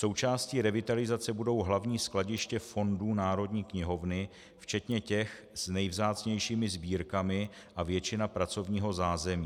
Součástí revitalizace budou hlavní skladiště fondů Národní knihovny včetně těch s nejvzácnějšími sbírkami a většina pracovního zázemí.